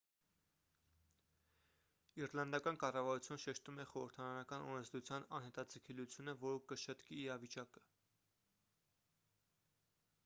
իռլանդական կառավարությունը շեշտում է խորհրդարանական օրենսդրության անհետաձգելիությունը որը կշտկի իրավիճակը